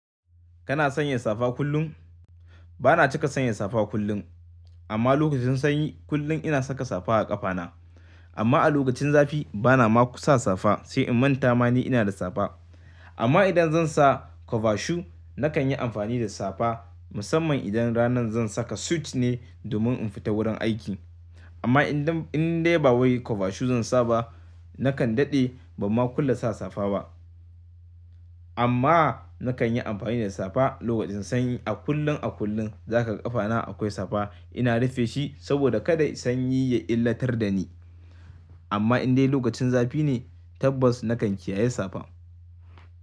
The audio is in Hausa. Kana sanya safa kullum? Ba na cika sanya safa kullum, amma lokacin sanyi kullum ina saka safa a ƙafana. Amma a lokacin zafi, ba na ma ko sa safa sai in manta ma ni ina da safa. Amma idan zan sa cover shoe, na kan yi amfani da safa musamman idan ranan zan saka suit ne domin in fita wurin aiki. Amma idan, in dai ba wai kwavashu zan sa ba, na kan daɗe ba ma kulle sa safa ba. Amma na kan yi amfani da safa lokacin sanyi a kullum, a kullum. Zaka ga ƙafana akwai safa. Ina rufe shi saboda kada sanyi ya illatar da ni. Amma in dai lokacin zafi ne, tabbas na kan kiyaye safa.